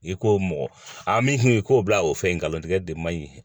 I ko mɔgɔ a min k'o bila o fɛn in kan o tɛ kɛ de man ɲi